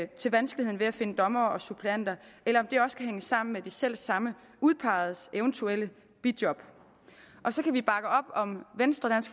til vanskeligheden ved at finde dommere og suppleanter eller om det også kan hænge sammen med de selv samme udpegedes eventuelle bijob og så kan vi bakke op om venstres